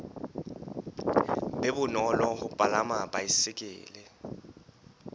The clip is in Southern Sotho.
be bonolo ho palama baesekele